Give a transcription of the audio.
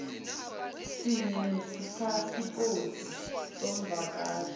sinye nepasipoti yomvakashi